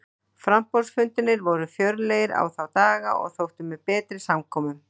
Framboðsfundirnir voru fjörlegir í þá daga og þóttu með betri samkomum.